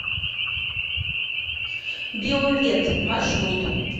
биовет маршрут